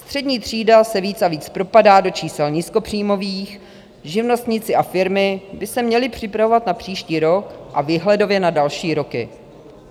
Střední třída se víc a víc propadá do čísel nízkopříjmových, živnostníci a firmy by se měli připravovat na příští rok a výhledově na další roky.